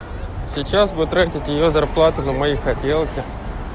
сейчас бы тратить её зарплату на мои хотелки